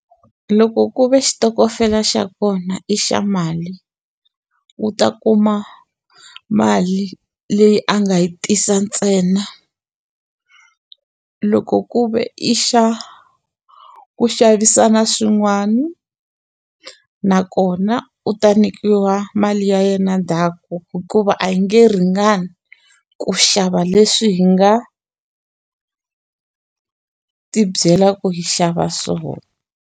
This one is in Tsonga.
Loko ku ve xitokofela xa kona i xa mali u ta kuma mali leyi a nga yi tisa ntsena loko ku ve i xa ku xavisana swin'wani nakona u ta nyikiwa mali ya yena ndhaku hikuva a yi nge ringani ku xava leswi hi nga ti byela ku yi xava swona.